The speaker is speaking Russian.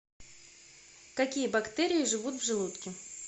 какие бактерии живут в желудке